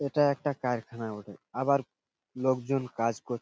এইটা একটা কারখানা বটে আবার লোকজন কাজ করছে --